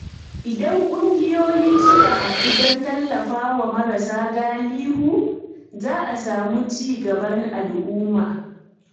Idan ƙungiyoyi suka haɗu don tallafawa marasa galihu, za a samu ci gaban al’umma.